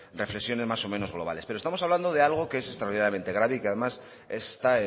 reflexiones más o menos globales pero estamos hablando de algo que es extraordinariamente grave y que además esta